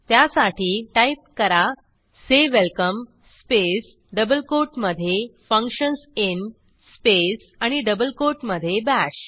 त्यासाठी टाईप करा say welcome space double कोटमधे फंक्शन्स इन स्पेस आणि डबल कोटमधे बाश